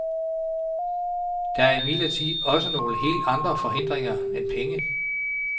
Der er imidlertid også nogle helt andre forhindringer end penge.